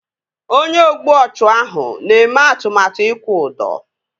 Onye ogbu ọchụ ahụ na-eme atụmatụ ịkwụ ụdọ